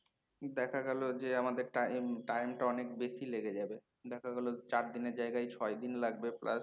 দেখা গেল যে আমাদের টা time টা অনেক বেশি লেগে যাবে। দেখা গেল চারদিনের জায়গায় ছয়দিন লাগবে প্রায়ে